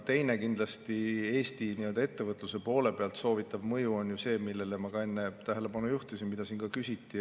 Teine, kindlasti Eesti ettevõtluse soovitav mõju on ju see, millele ma ka enne tähelepanu juhtisin ja mille kohta siin ka küsiti.